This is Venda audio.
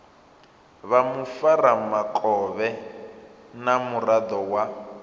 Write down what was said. vha mufaramukovhe na muraḓo wa